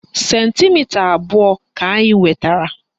Sentimita abụọ ka anyị nwetara